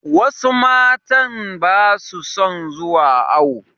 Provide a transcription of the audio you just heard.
Wasu matan ba su son zuwa awo.